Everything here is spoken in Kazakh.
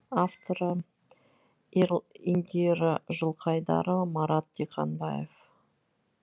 авторлары индира жылқайдарова марат диқанбаев